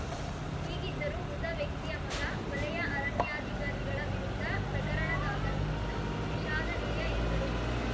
ಹೀಗಿದ್ದರೂ ಮೃತ ವ್ಯಕ್ತಿಯ ಮಗ ವಲಯ ಅರಣ್ಯಾಧಿಕಾರಿಗಳ ವಿರುದ್ಧ ಪ್ರಕರಣ ದಾಖಲಿಸಿದ್ದು ವಿಷಾದನೀಯ ಎಂದರು